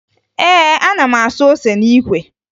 Ee, ana m asụ ose n'ikwe